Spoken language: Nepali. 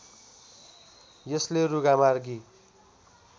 यसले रुघामार्गी